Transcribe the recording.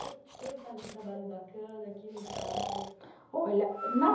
Quem faz um trabalho bacana, quem não faz? Olha na